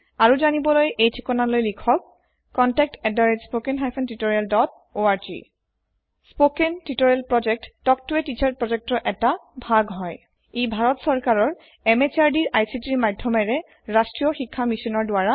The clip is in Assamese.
আৰু যানিবলৈ এই থিকনালৈ লিখক spoken hyphen tutorial dot org spoken tutorial project এটা ভাগ হয় তাল্ক ত a টিচাৰ প্ৰজেক্ট ইয়াক সহায় কৰে national mission on education ICT MHRD government of India ৰ যোগেদি